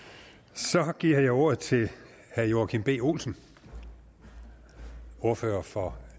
så giver jeg ordet til herre joachim b olsen ordfører for